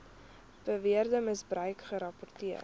beweerde misbruik gerapporteer